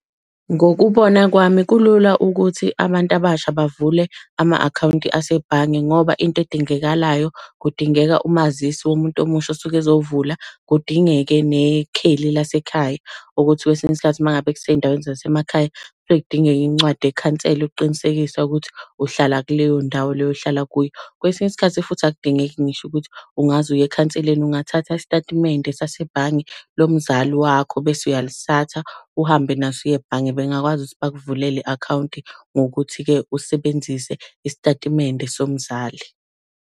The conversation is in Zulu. Ngokubona kwami kulula ukuthi abantu abasha bavule ama-akhawunti asebhange, ngoba into edingekalayo, kudingeka umazisi womuntu omusha osuke ezovula. Kudingeke nekheli lasekhaya ukuthi kwesinye isikhathi uma ngabe kusey'ndaweni zasemakhaya, kuyeke kudingeke incwadi yekhansela ukuqinisekisa ukuthi uhlala kuleyo ndawo leyo ohlala kuyo. Kwesinye isikhathi futhi akudingeki ngisho ukuthi ungaze uye ekhanseleni, ungathatha isitatimende sasebhange lomzali wakho bese uyalithatha uhambe naso uyebhange bengakwazi ukuthi bakuvulele i-akhawunti ngokuthi-ke usebenzise isitatimende somzali.